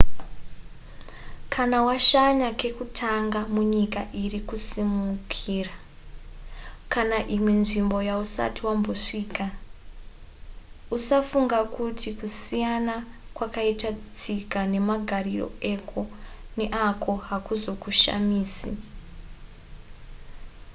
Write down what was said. kana washanya kekutanga munyika iri kusimukira kana imwe nzvimbo yausati wambosvika-usafunga kuti kusiyana kwakaita tsika nemagariro eko neako hakuzokushamisi